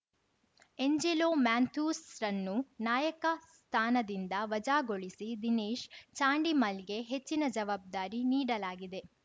Angelo ಮ್ಯಾನ್ಥ್ಯೂಸ್‌ರನ್ನು ನಾಯಕನ ಸ್ಥಾನದಿಂದ ವಜಾಗೊಳಿಸಿ ದಿನೇಶ್‌ ಚಾಂಡಿಮಲ್‌ಗೆ ಹೆಚ್ಚಿನ ಜವಾಬ್ದಾರಿ ನೀಡಲಾಗಿದೆ